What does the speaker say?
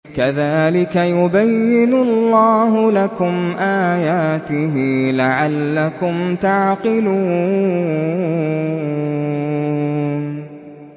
كَذَٰلِكَ يُبَيِّنُ اللَّهُ لَكُمْ آيَاتِهِ لَعَلَّكُمْ تَعْقِلُونَ